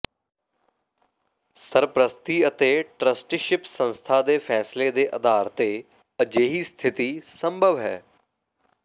ਸਰਪ੍ਰਸਤੀ ਅਤੇ ਟਰੱਸਟੀਸ਼ਿਪ ਸੰਸਥਾ ਦੇ ਫ਼ੈਸਲੇ ਦੇ ਆਧਾਰ ਤੇ ਅਜਿਹੀ ਸਥਿਤੀ ਸੰਭਵ ਹੈ